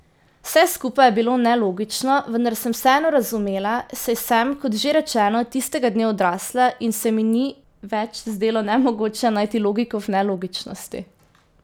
Vse skupaj je bilo nelogično, vendar sem vseeno razumela, saj sem, kot že rečeno, tistega dne odrasla in se mi ni več zdelo nemogoče najti logiko v nelogičnosti.